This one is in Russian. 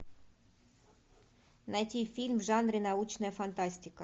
найти фильм в жанре научная фантастика